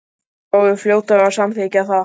Hinar voru fljótar að samþykkja það.